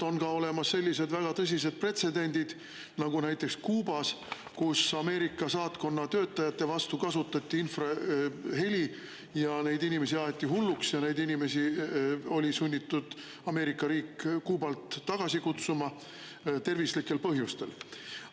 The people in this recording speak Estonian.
On olemas ka sellised väga tõsised pretsedendid, nagu näiteks oli Kuubas, kus Ameerika saatkonna töötajate vastu kasutati infraheli, neid inimesi aeti hulluks ja Ameerika riik oli sunnitud nad Kuubalt tervislikel põhjustel tagasi kutsuma.